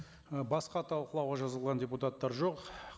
і басқа талқылауға жазылған депутаттар жоқ